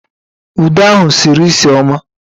Uda ahụ sịrị nsị ọma